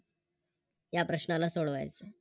या प्रश्नाला सोडवायच आहे